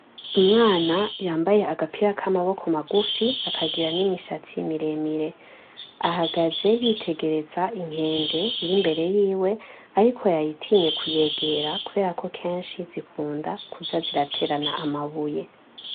Umwana yambaye agapira k'amaboko magufi akagira n'imishatsi miremire, ahagaze yitegereza inkende iri imbere yiwe ariko yayitinye kuyegera kubera ko kenshi zikunda kuza ziraterana amabuye.